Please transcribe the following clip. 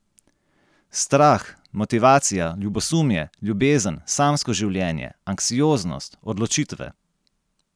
Strah, motivacija, ljubosumje, ljubezen, samsko življenje, anksioznost, odločitve ...